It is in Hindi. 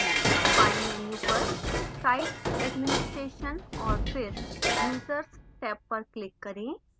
बाएँ menu पर site administration और फिर users टैब पर click करें